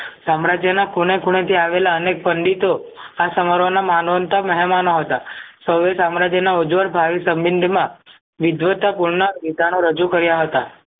સામ્રાજ્યના ખૂણે ખૂણેથી આવેલા અનેક પંડિતો આ સમાહરોના માનવન્ત મહેમાનો હતા સૌએ સામ્રાજ્યના ઉજ્વળ ભાવિ સમ્બન્ધીમાં વિધ્વતા કુળના વિધાનો રજુ કર્યા હતા